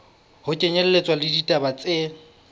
ho kenyelletswa le ditaba tse